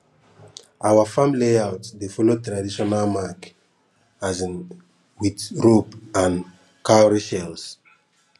our farm layout dey follow traditional mark um with rope and cowrie shells